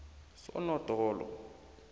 sonodolo